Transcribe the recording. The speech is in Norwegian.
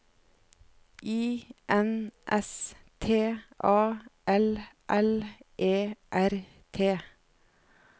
I N S T A L L E R T